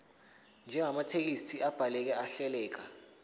njengamathekisthi abhaleke ahleleka